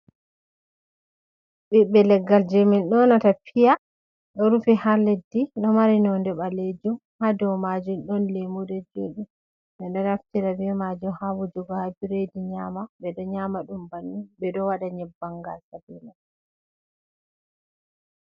Ɓiɓɓe leggal jey min ƴonata piya, ɗo rufi haa leddi, ɗo mari nonnde ɓaleejum ,haa dow maajum ɗon lammuɗe, jooɗi ɓe ɗo naftira be maajum haa wujugo haa biredi nyaama ,nyaama ɗum ɓe ɗo waɗa nyebbam ngaasa be may.